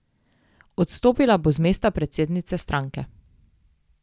Odstopila bo z mesta predsednice stranke.